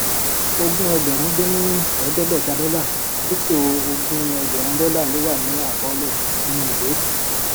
ogún ẹgbèrún dín ní èédégbèta dólà dípò ogún ẹgbèrún dólà ló wà ní àkọólè nínú ìwé